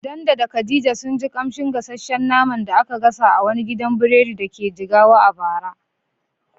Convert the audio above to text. Dan da Khadija sun ji ƙamshin gasasshen naman da aka gasa a wani gidan biredi da ke Jigawa a bara.